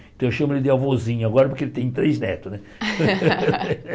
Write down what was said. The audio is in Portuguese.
Então eu chamo ele de avôzinho agora porque ele tem três netos, né?